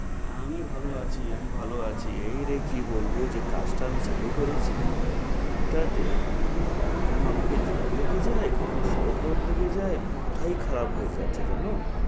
আমি ভালো আছি। আমি ভালো আছি। এই রে কি বলব যে কাজটা আমি চালু করেছি, এটাতে কখনো আমাকে জ্বর লেগে যায়, কখনো শরৎ গরম লেগে যায়, মাথাই খারাপ হয়ে যাচ্ছে জানো?